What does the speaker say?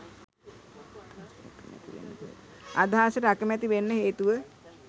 අදහසට අකමැති වෙන්න හේතුව